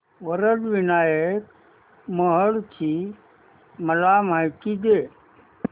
वरद विनायक महड ची मला माहिती दे